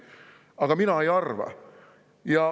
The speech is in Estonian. Aga mina nii ei arva.